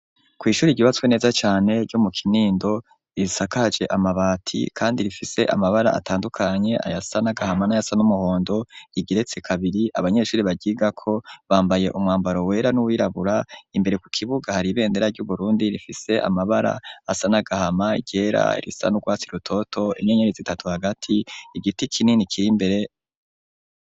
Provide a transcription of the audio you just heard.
Ku ishuri ryubatswe neza cane ryo mu kinindo risakaje amabati kandi rifise amabara atandukanye ayasa n'agahama n'ayasa n'umuhondo rigeretse kabiri abanyeshuri baryigako bambaye umwambaro wera n'uwirabura imbere ku kibuga hari ibendera ry'uburundi rifise amabara asa n'agahama iryera irisa n'urwatsi rutoto inyenyeri zitatu hagati igiti kinini kirimbere.